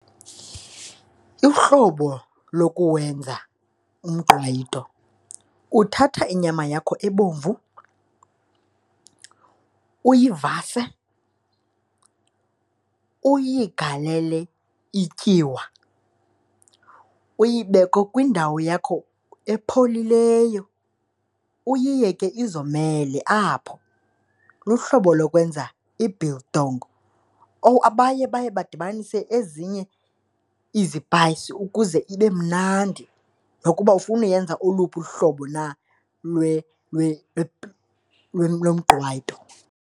Uhlobo lokuwenza umqwayito uthatha inyama yakho ebomvu uyivase, uyigalele ityiwa, uyibeke kwindawo yakho epholileyo uyiyeke izomele apho. Luhlobo lokwenza i-biltong or abanye baye badibanise ezinye izipayisi ukuze ibe mnandi nokuba ufuna uyenza oluphi luhlobo na lomqwayito.